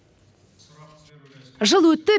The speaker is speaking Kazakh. жыл өтті